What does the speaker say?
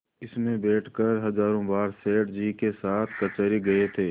इसमें बैठकर हजारों बार सेठ जी के साथ कचहरी गये थे